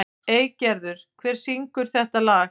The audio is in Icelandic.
Eygerður, hver syngur þetta lag?